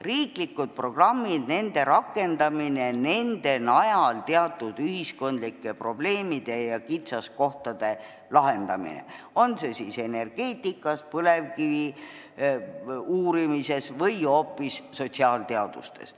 Riiklikud programmid, nende rakendamine ning nende najal teatud ühiskondlike probleemide ja kitsaskohtade lahendamine, on see siis energeetikas, põlevkiviuurimises või hoopis sotsiaalteadustes.